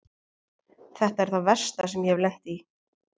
Þetta er það versta sem ég hef lent í.